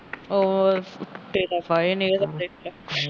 ਉਹ